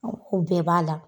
o bɛɛ b'a la.